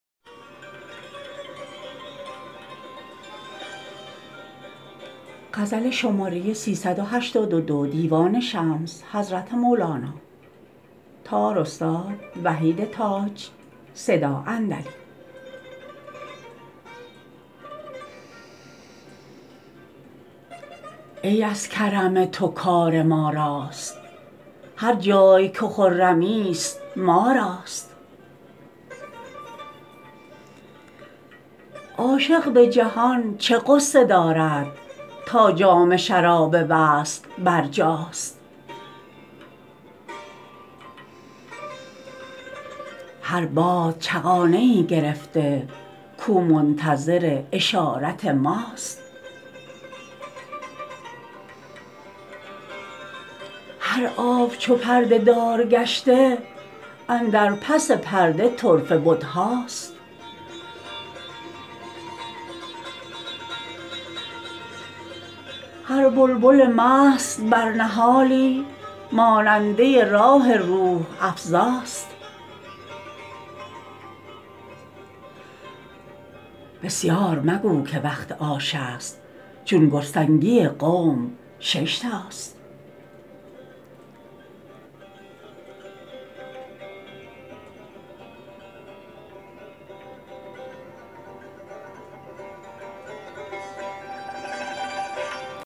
ای از کرم تو کار ما راست هر جای که خرمی ست ما راست عاشق به جهان چه غصه دارد تا جام شراب وصل برجاست هر باد چغانه ای گرفته کاو منتظر اشارت ماست هر آب چو پرده دار گشته اندر پس پرده طرفه بت هاست هر بلبل مست بر نهالی ماننده راح روح افزا ست بسیار مگو که وقت آش است چون گرسنگی قوم شش تاست